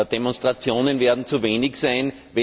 Demonstrationen werden zu wenig sein.